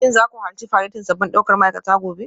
Shin za ku halarci faretin sabbin daukar ma'aikata gobe?